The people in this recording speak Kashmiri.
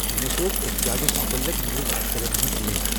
مے سوز احتجاجس مُطلِق نیوز آرٹِکلزن ہٕنٛز لِنکہٕ ۔